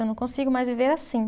Eu não consigo mais viver assim.